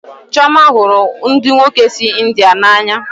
Chioma hụrụ ndị nwoke si India n'anya